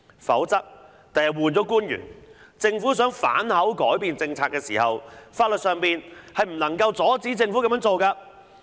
否則，日後換了官員，政府想反口改變政策時，法律上不能阻止政府這樣做。